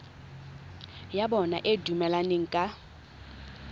ya bona e dumelaneng ka